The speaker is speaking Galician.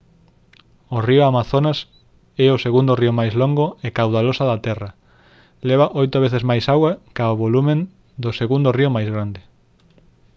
o río amazonas é o segundo río máis longo e caudaloso da terra leva 8 veces máis auga ca o volume do segundo río máis grande